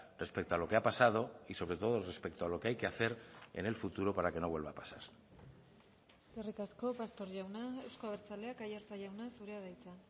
respecto a lo que ha pasado y sobre todo respecto a lo que hay que hacer en el futuro para que no vuelva a pasar eskerrik asko pastor jauna euzko abertzaleak aiartza jauna zurea da hitza